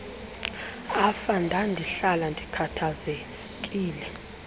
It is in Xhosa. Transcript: afa ndandihlala ndikhathazekile